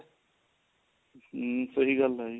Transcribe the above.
ਹਮ ਸਹੀ ਗੱਲ ਹੈ ਜੀ